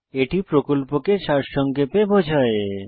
এটি প্রকল্পকে সারসংক্ষেপে বোঝায়